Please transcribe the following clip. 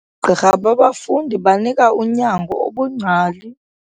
Oogqirha babafundi banika unyango obungcali.